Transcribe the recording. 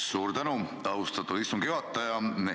Suur tänu, austatud istungi juhataja!